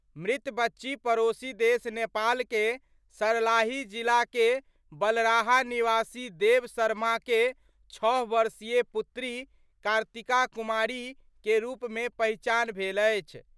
मृत बच्ची पड़ोसी देश नेपाल के सलार्ही जिला के बलराहा निवासी देवा शर्मा के छह वर्षीय पुत्री कार्तिका कुमारी के रुप मे पहिचान भेल अछि।